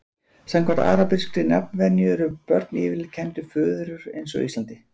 Samkvæmt arabískri nafnvenju eru börn yfirleitt kennd við föður eins og á Íslandi.